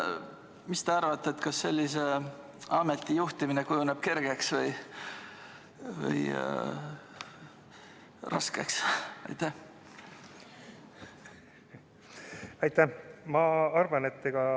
Mis te arvate, kas sellise ameti juhtimine kujuneb kergeks või raskeks?